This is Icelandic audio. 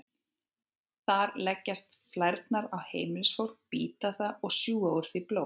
Þar leggjast flærnar á heimilisfólk, bíta það og sjúga úr því blóð.